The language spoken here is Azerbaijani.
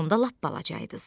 Siz onda lap balacaydınız.